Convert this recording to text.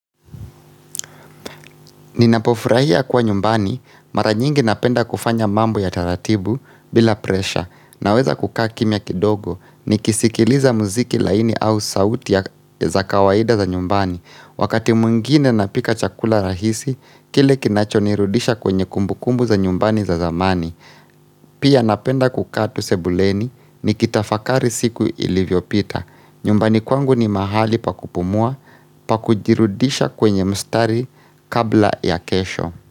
Ninapofurahia kuwa nyumbani mara nyingi napenda kufanya mambo ya taratibu bila presha naweza kukaa kimia kidogo ni kisikiliza muziki laini au sauti za kawaida za nyumbani wakati mwingine napika chakula rahisi kile kinachonirudisha kwenye kumbukumbu za nyumbani za zamani. Pia napenda kukaa tu sebuleni ni kitafakari siku ilivyo pita. Nyumbani kwangu ni mahali pakupumua pakujirudisha kwenye mstari kabla ya kesho.